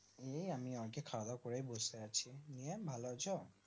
এই আমি খাওয়া দাওয়াকরে বসে আছি নিয়ে ভালো আছো